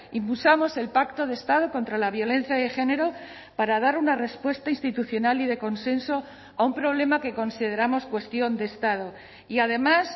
impulsamos el pacto de estado contra la violencia de género para dar una respuesta institucional y de consenso a un problema que consideramos cuestión de estado y además